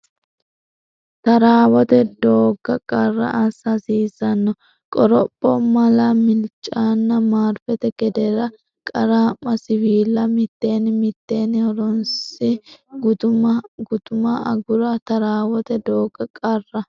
Taaraawote doogga qarra Assa hasiissanno qoropho mala Milaacenna marfete gedeere Qaraamma siwiilla mitteenni mitteenni horoonsi gutama agura Taaraawote doogga qarra.